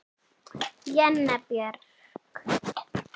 Jenna Björk.